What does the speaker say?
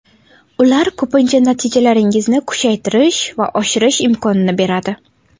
Ular ko‘pincha natijalaringizni kuchaytirish va oshirish imkonini beradi.